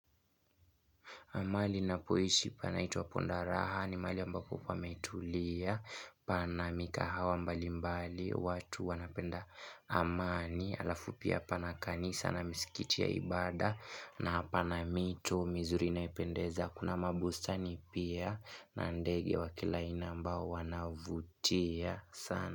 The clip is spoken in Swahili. Mahali ninapoishi panaitwa ponda raha ni mahali ambapo pametulia. Pana mikahawa mbalimbali watu wanapenda amani. Alafu pia pana kanisa na misikiti ya ibaada na pana mito mizuri inayopendeza. Kuna mabustani pia na ndege wa kila aina ambao wanavutia sana.